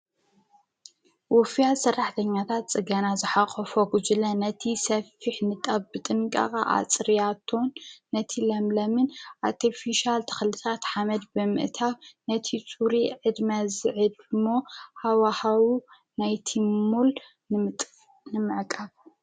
ውፍያት ሰራሕኛታት ፅገና ዝሓቖፎ ጕጅለ ነቲ ሰፊሕ ንጣብ ብጥንቃቐ ኣፅርያቶን ነቲ ለምለምን ኣርቲፊሻል ተኽልታት ሓመድ ብምእታ ነቲ ሱሪ ዕድመ ዝዕድሞ ሃዋህው ናይቲ ልሙዕ ንመዕቃብ...